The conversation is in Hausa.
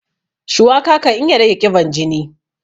Shuwaka kan iya rage ƙiban jini.